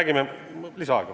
Kolm minutit lisaaega.